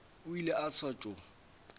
o ile a sa tšo